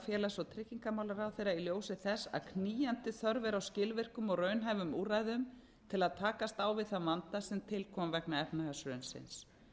félags og tryggingamálaráðherra í ljósi þess að knýjandi þörf er á skilvirkum og raunhæfum úrræðum til að takast á við þann vanda sem til kom vegna efnahagshrunsins